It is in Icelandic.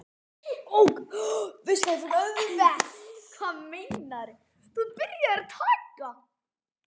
Fiskafli eykst